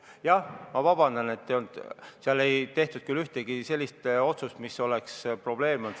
Jah, ma palun vabandust, aga seal ei tehtud küll ühtegi sellist otsust, mis oleks probleemne olnud.